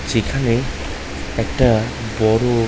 এখানে একটা বড়ো--